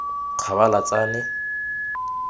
kgabalatsane